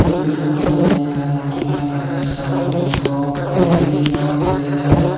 building gorano iyeganot olodey agedey sanbodo dok guri syot he lega agey.